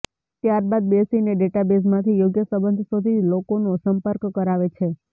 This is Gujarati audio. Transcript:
ત્યારબાદ બેસીને ડેટાબેઝમાંથી યોગ્ય સંબંધ શોધી લોકોનો સંપર્ક કરાવે છે